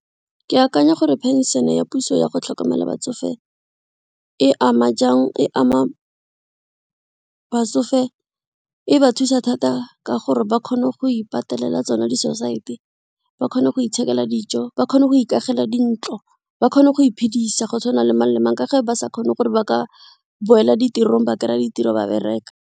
Ke akanya gore pension ya puso yago tlhokomela batsofe e ama jang e ama batsofe e ba thusa thata ka gore ba kgone go ipatelela tsona di-society-e, ba kgone go ithekela dijo ba kgone go ikamogela dintlo, ba kgone go iphedisa go tshwana le mang le mang ka ge ba sa kgone gore ba ka boela ditirong ba kry-a ditiro ba bereka.